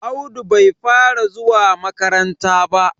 Audu bai fara zuwa makaranta ba.